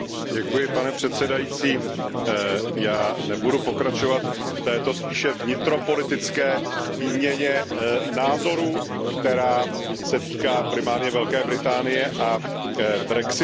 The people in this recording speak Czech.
Pane předsedající, já nebudu pokračovat v této spíše vnitropolitické výměně názorů, která se týká primárně Velké Británie a brexitu.